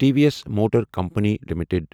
T V S motor company limited